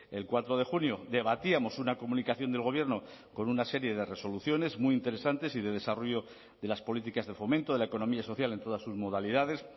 el cuatro de junio debatíamos una comunicación del gobierno con una serie de resoluciones muy interesantes y de desarrollo de las políticas de fomento de la economía social en todas sus modalidades